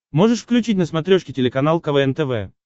можешь включить на смотрешке телеканал квн тв